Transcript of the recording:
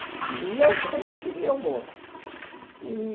E eu sempre queria o bolo e